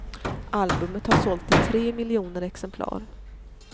Albumet har sålt i tre miljoner exemplar.